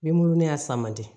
Ni mu y'a san man di